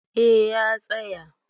A ya tsaya